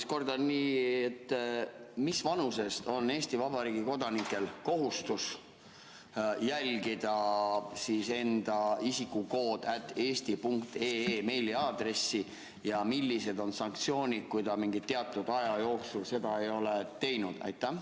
Ma kordan: mis vanusest on Eesti Vabariigi kodanikel kohustus jälgida enda isikukood@eesti.ee meiliaadressi ja millised on sanktsioonid, kui mingi aja jooksul seda ei ole tehtud?